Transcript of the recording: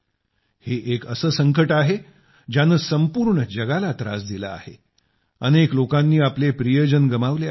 हे एक असे संकट आहे ज्याने संपूर्ण जगाला त्रास दिला आहे अनेक लोकांनी आपले प्रियजन गमावले आहेत